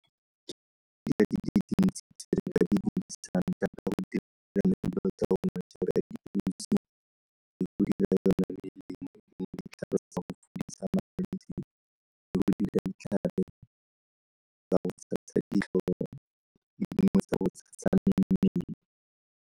Dilo di dintsi tse re ka di .